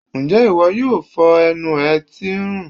njẹ iwọ yóò fó enú e tí n rùn